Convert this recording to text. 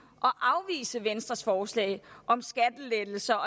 og afvise venstres forslag om skattelettelser